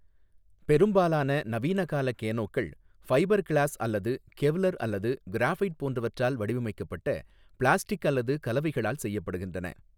பெரும்பாலான நவீனகால கேனோக்கள் ஃபைபர் கிளாஸ் அல்லது கெவ்லர் அல்லது கிராபைட் போன்றவற்றால் வடிவமைக்கப்பட்ட பிளாஸ்டிக் அல்லது கலவைகளால் செய்யப்படுகின்றன.